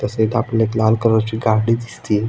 तसे इथे आपल्याला लाल कलरची गाडी दिसतिये.